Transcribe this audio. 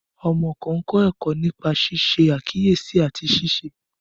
Ọmọ kan kọ ẹkọ nipa ṣiṣe akiyesi ati ṣiṣe.